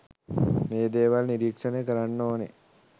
මේ දේවල් නිරීක්‍ෂණය කරන්න ඕන